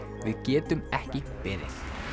við getum ekki beðið